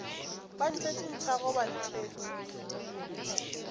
ba ntšhetše nthago ba ntšhetše